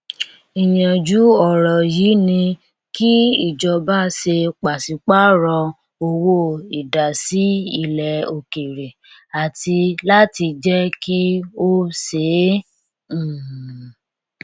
ìyànjú ọrọ yìí ni kí ìjọba ṣe pàṣípàrọ owó ìdásí ilẹ òkèèrè àti láti jẹ kí ó ṣeé um